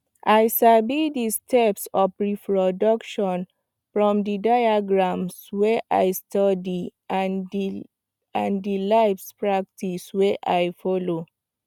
i sabi the steps of reproduction from the diagrams wey i study and the the live practice wey I follow